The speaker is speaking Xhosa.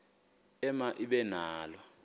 ema ibe nalo